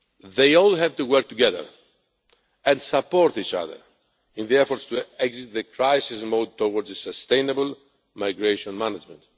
They all have to work together and support each other in the efforts to exit the crisis mode and move towards sustainable migration management.